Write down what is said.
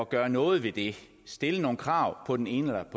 gøre noget ved det at stille nogle krav på den ene